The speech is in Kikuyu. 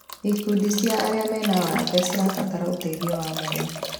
Ikundi cia arĩa mena mawathe cirabatara ũteithio wa mwanya.